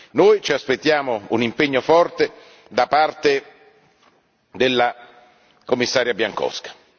Noi ci aspettiamo un impegno forte da parte della Commissaria Bieńkowska.